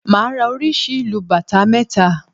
Màá ra oríṣi ìlù bàtá mẹ́ta